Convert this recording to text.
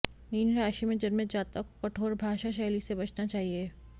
mean राशि में जन्मे जातक को कठोर भाषाशैली से बचना चाहिए